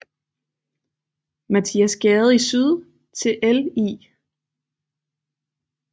Mathias Gade i syd til Ll